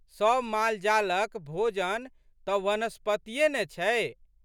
सब मालजालक भोजन तऽ वनस्पतिये ने छै।